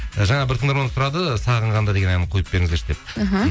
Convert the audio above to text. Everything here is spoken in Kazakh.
жаңа бір тыңдарманымыз сұрады сағынғанда деген әнін қойып беріңіздерші деп іхі